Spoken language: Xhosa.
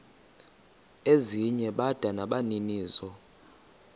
ezinye bada nabaninizo